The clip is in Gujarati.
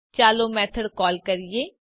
ચાલો મેથડ કોલ કરીએ